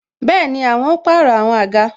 Bẹẹni, àwọn ó pàrọ̀ àwọn àga